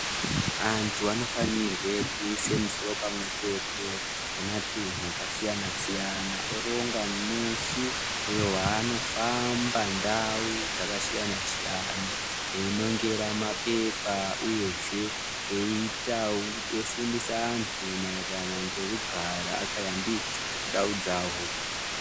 Antu anofanirwe kuise musoro pamwe chete nematunhu akasiyana siyana oronga musi wewanofamba ndau dzakasiyana siyana einongera mapepa uyezve aitawo eifundisa antu mairirano ngekugara akayambidza ndau dzavo.